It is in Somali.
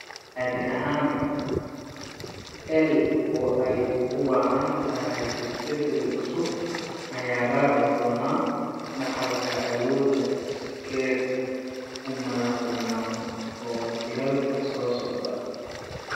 Caadi ahaan, EI oo ay ugu wacan tahay is-beddel cusub ayaa raaci doona dhaxalka awoodda iskeed u madaxbannaan ee jiilalka soo socda.